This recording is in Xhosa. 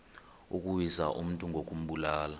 ukuwisa umntu ngokumbulala